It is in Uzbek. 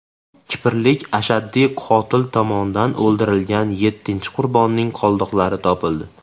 Kiprlik ashaddiy qotil tomonidan o‘ldirilgan yettinchi qurbonning qoldiqlari topildi.